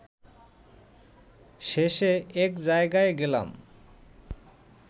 শেষে এক জায়গায় গেলাম